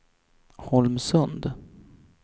Holmsund